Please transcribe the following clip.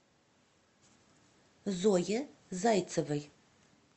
зое зайцевой